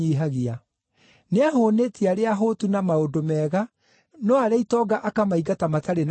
Nĩahũũnĩtie arĩa ahũtu na maũndũ mega, no arĩa itonga akamaingata matarĩ na kĩndũ.